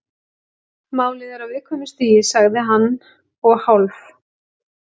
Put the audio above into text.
Málið er á viðkvæmu stigi- sagði hann og hálf